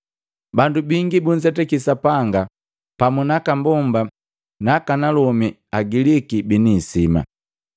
Bandu bingi bunzetaki Sapanga pamu naka mbomba naaka nalomi Agiliki bini isima.